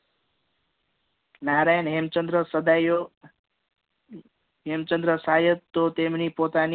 નારાયણ હેમચંદ્ર સડ્યો હેમચંદ્ર શાયદ તો તેમની પોતાની